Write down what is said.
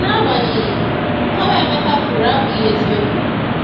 Agbanyeghị, nkọwa Emeka kwuru abụghị eziokwu.